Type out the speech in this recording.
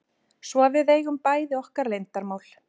Svo að við eigum bæði okkar leyndarmál.